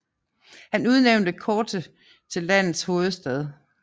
Han udnævnte Corte til landets hovedstad